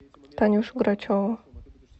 танюшу грачеву